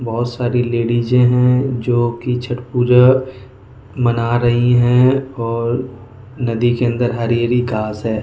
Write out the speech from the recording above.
बहुत सारी लेडीज हैं जो कि छट पूजा मना रही हैं और नदी के अंदर हरी हरी गास हैं।